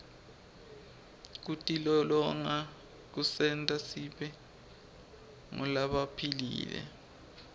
kutilolonga kusenta sibe ngulabaphilile